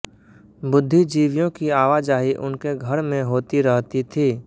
बुद्धिजीवियों की आवाजाही उनके घर में होती रहती थी